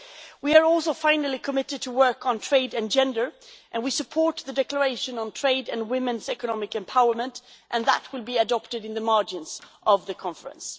We are also finally committed to work on trade and gender, and we support the declaration on trade and women's economic empowerment, and that will be adopted in the margins of the conference.